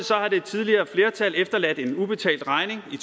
har det tidligere flertal efterladt en ubetalt regning i